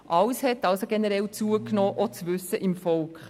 Alles hat also generell zugenommen, auch das Wissen im Volk.